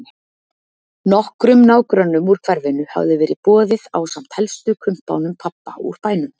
Nokkrum nágrönnum úr hverfinu hafði verið boðið ásamt helstu kumpánum pabba úr bænum.